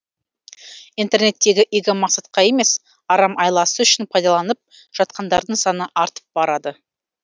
интернеттегі игі мақсатқа емес арам айласы үшін пайдаланып жатқандардың саны артып барады